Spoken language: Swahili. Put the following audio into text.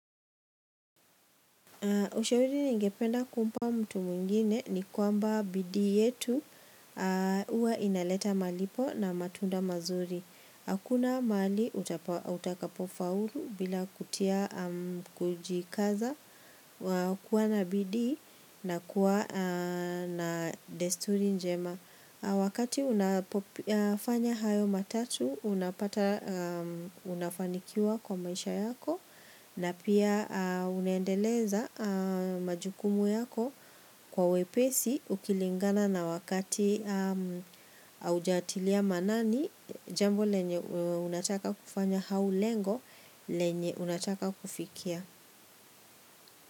Ushauri ningependa kumpa mtu mwingine ni kwamba bidii yetu huwa inaleta malipo na matunda mazuri. Hakuna mali utakapofaulu bila kutia, kujikaza kuwa na bidii na kuwa na desturi njema. Wakati unafanya hayo matatu unapata unafanikiwa kwa maisha yako na pia unaendeleza majukumu yako kwa wepesi ukilingana na wakati haujatilia maanani jambo lenye unataka kufanya au lengo lenye unataka kufikia.